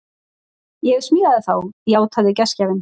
Ég smíða þá, játaði gestgjafinn.